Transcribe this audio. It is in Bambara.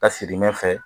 Ka sigi ɲɛfɛ